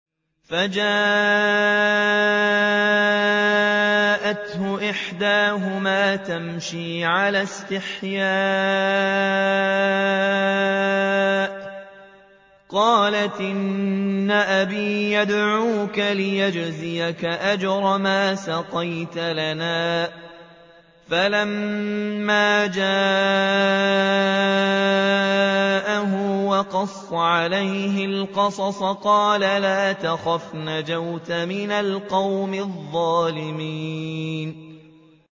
فَجَاءَتْهُ إِحْدَاهُمَا تَمْشِي عَلَى اسْتِحْيَاءٍ قَالَتْ إِنَّ أَبِي يَدْعُوكَ لِيَجْزِيَكَ أَجْرَ مَا سَقَيْتَ لَنَا ۚ فَلَمَّا جَاءَهُ وَقَصَّ عَلَيْهِ الْقَصَصَ قَالَ لَا تَخَفْ ۖ نَجَوْتَ مِنَ الْقَوْمِ الظَّالِمِينَ